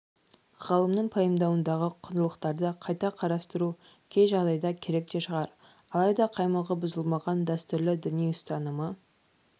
ғалымның пайымдауындағы құндылықтарды қайта қарастыру кей жағдайда керек те шығар алайда қаймағы бұзылмаған дәстүрлі діни ұстанымы